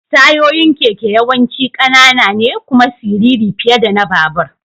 Tayoyin keke yawanci ƙanana ne kuma siriri fiye da na babur.